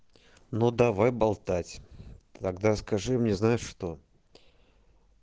ну давай болтать тогда скажи мне знаешь что